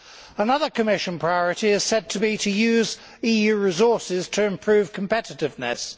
Another Commission priority is said to be to use EU resources to improve competitiveness.